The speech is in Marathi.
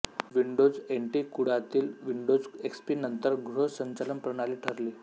विंडोज एनटी कुळातील विंडोज एक्सपी नंतर गृह संचालन प्रणाली ठरली